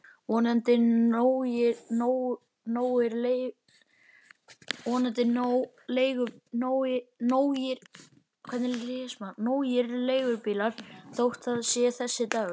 Vonandi nógir leigubílar þótt það sé þessi dagur.